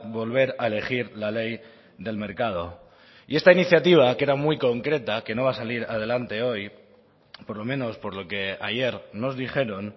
volver a elegir la ley del mercado y esta iniciativa que era muy concreta que no va a salir adelante hoy por lo menos por lo que ayer nos dijeron